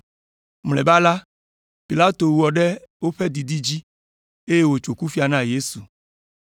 Mlɔeba la, Pilato wɔ ɖe woƒe didi dzi, eye wòtso kufia na Yesu.